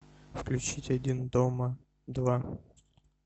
включить один дома два